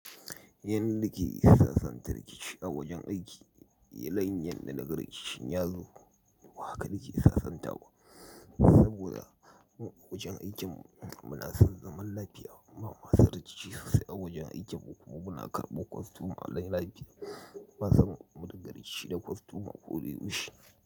Yanda na ke sassanta rikici a wajen aiki, la'anyan da nagar rikicin ya zo, haka da ke sassanta wa. Saboda a wajen aikin muna son zaman lafiya, ba masu rikici sosai a wajen aikin ba kuma muna karɓo kwastoman layin lafiya, ba san mun rigar rikici da kwastoman ƙuri'u shi.